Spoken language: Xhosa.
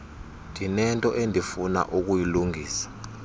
ndinento endifuna ukuyilungisa